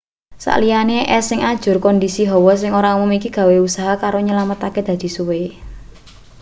sak liyane es sing ajur kondisi hawa sing ora umum iki gawe usaha kanggo nyelametake dadi suwe